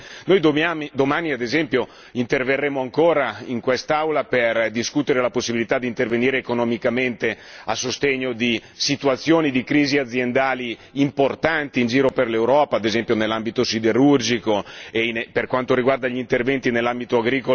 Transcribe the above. Noi domani, ad esempio, interverremo ancora in quest'Aula per discutere la possibilità di intervenire economicamente a sostegno di situazioni di crisi aziendali importanti in giro per l'Europa, ad esempio nell'ambito siderurgico mentre lei già ricordava gli interventi nell'ambito agricolo.